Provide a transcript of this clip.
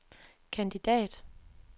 kandidat